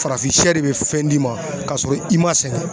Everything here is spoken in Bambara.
Farafin siyɛ de bɛ fɛn d'i ma k'a sɔrɔ i ma sɛgɛn.